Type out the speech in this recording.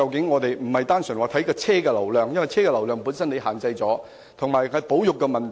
我們不應只看車輛流量，因為車輛流量受到限制，而且還有保育問題。